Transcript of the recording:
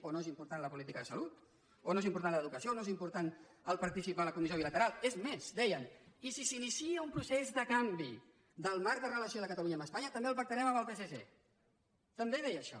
o no és important la política de salut o no és important la d’educació o no és important participar a la comissió bilateral és més deien i si s’inicia un procés de canvi del marc de relació de catalunya amb espanya també el pactarem amb el psc també deia això